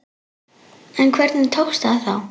En hvernig tókst það þá?